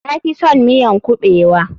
Na fison miyan kuɓewa.